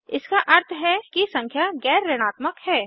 इसका अर्थ है कि संख्या गैर ऋणात्मक है